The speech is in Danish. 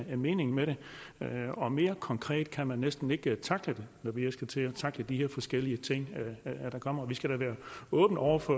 er meningen med det og mere konkret kan man næsten ikke tackle det når vi skal til at tackle de her forskellige ting der kommer vi skal da være åbne over for